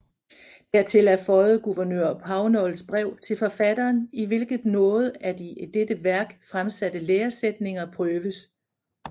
Hertil er føiet gouvernør Pownals brev til forfatteren i hvilket nogle af de i dette wærk fremsatte læresættninger prøves